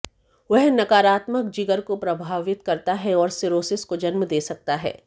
वह नकारात्मक जिगर को प्रभावित करता है और सिरोसिस को जन्म दे सकता है